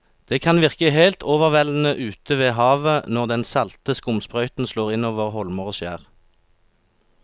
Det kan virke helt overveldende ute ved havet når den salte skumsprøyten slår innover holmer og skjær.